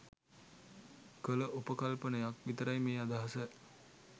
කළ උපකල්පනයක් විතරයි මේ අදහස.